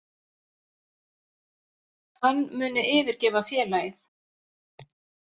Hann muni yfirgefa félagið